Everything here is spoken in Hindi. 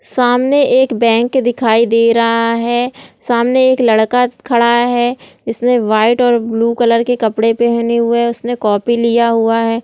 सामने एक बैंक दिखाई दे रहा है सामने। एक लड़का खड़ा हुआ है जिसने व्हाइट और बालू कलर के कपड़े पहने हुए है। उसने कॉपी लिया हुआ है ।